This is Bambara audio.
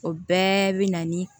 O bɛɛ bi na ni